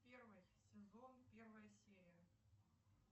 первый сезон первая серия